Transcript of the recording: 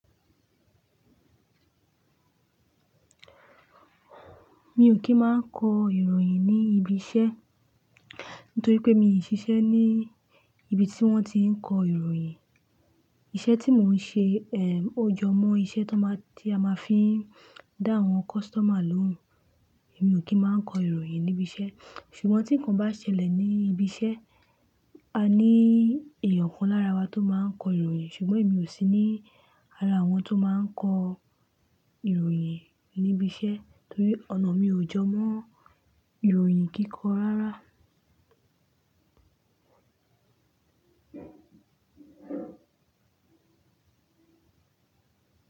Mi ò kí máa n kọ ìròyìn ní ibi iṣẹ́ nítorí pé mi ò ṣiṣẹ́ ní ibi tí wọ́n ti ń kọ ìròyìn. Iṣẹ́ tí mò ń ṣe, ó jọ mọ́ iṣẹ́ tó máa-- tí a máa fi n dá àwọn customer lóhùn. Èmi ò kí máa n kọ ìròyìn ní ibi iṣẹ́. Ṣùgbọ́n tí nǹkan bá ṣẹlẹ̀ ní ibi iṣẹ́, a ní èèyàn kan lára wa tó máa ń kọ ìròyìn, ṣùgbọ́n èmi ò sí ní ara àwọn tó máa ń kọ ìròyìn ní ibi iṣẹ́ torí ọ̀nà mi ò jọ mọ́ ìròyìn kíkọ rárá.